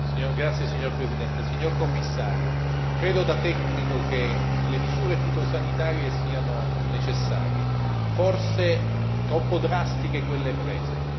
Signora Presidente, onorevoli colleghi, signor Commissario, credo da tecnico che le misure fitosanitarie siano necessarie, forse troppo drastiche quelle prese.